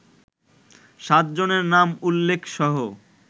সাতজনের নাম উল্লেখসহ